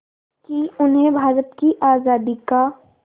कि उन्हें भारत की आज़ादी का